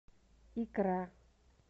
икра